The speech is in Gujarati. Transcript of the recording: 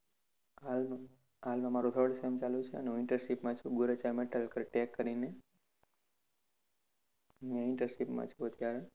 હાલમાં હાલમાં મારું third sem ચાલુ છે. હું internship માં છુ. Gorecha Metal Tech કરીને ત્યાં internship માં છુ અત્યારે.